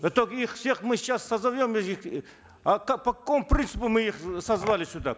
это их всех мы сейчас созовем а как по какому принципу мы их созвали сюда